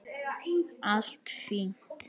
Allt fínt.